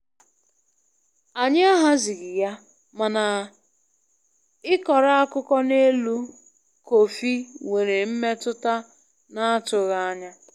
Anyị ahazighị ya, mana ịkọrọ akụkọ n'elu kọfị nwere mmetụta na-atụghị anya.